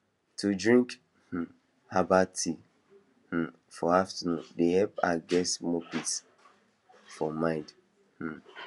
to drink um herbal tea um for afternoon dey help her get small peace of mind um